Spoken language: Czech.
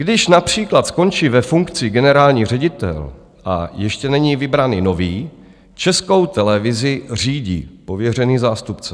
Když například skončí ve funkci generální ředitel a ještě není vybrán nový, Českou televizi řídí pověřený zástupce.